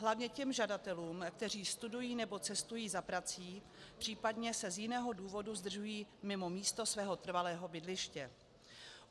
Hlavně těm žadatelům, kteří studují nebo cestují za prací, případně se z jiného důvodu zdržují mimo místo svého trvalého bydliště.